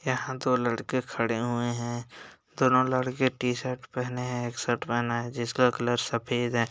यहाँ दो लड़के खड़े हुए हैं दोनों लड़के टी शर्ट पहने हैं एक शर्ट पहना है जिसका कलर सफेद है।